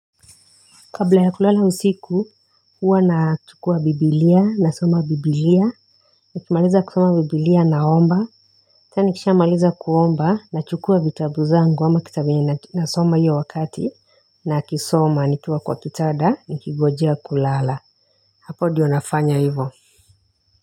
Kabla ya kulala usiku huwa nachukua biblia nasoma biblia nikimaliza kusoma biblia naomba ata nikishamaliza kuomba nachukua vitabu zangu ama kitabu ninasoma hiyo wakati nakisoma nikiwa kwa kitanda nikigojea kulala hapo ndio nafanya hivyo.